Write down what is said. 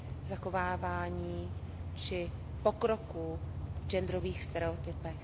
zachovávání či pokroku v genderových stereotypech.